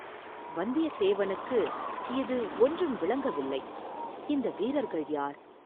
வந்தியதேவனுக்கு இது ஒன்றும் விளங்கவில்லை, இந்த வீரர்கள் யார்?